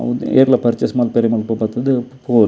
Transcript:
ಏರ್ಲಾ ಪರ್ಚೇಸ್ ಮಲ್ಪೆರೆ ಮುಲ್ಪ ಬತ್ತುದು ಪೊವೊಲಿ.